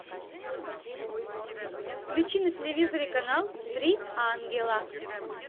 включи на телевизоре канал три ангела